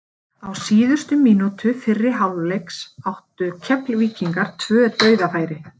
Á síðustu mínútu fyrri hálfleiks áttu Keflvíkingar tvö dauðafæri.